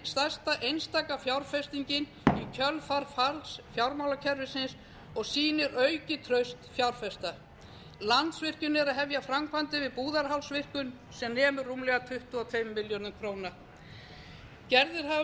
stærsta einstaka fjárfestingin í kjölfar falls fjármálakerfisins og sýnir aukið traust fjárfesta landsvirkjun er að hefja framkvæmdir við búðarhálsvirkjun sem nemur rúmlega tuttugu og tveimur milljörðum króna gerðir hafa